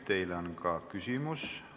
Teile on ka küsimus.